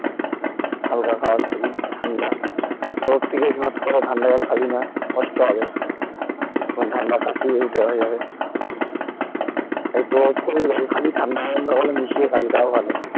হালকা খাওয়ার খাবি ঠান্ডা রোদ থেকে এসে ঝট করে ঠান্ডা জল খাবিনা কষ্ট হবে ঠান্ডা কাশি হয়ে যাবে একটু wait করবি জল খাবি ঠান্ডা গরম মিশিয়ে খাবি তাও ভালো